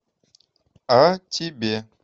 а тебе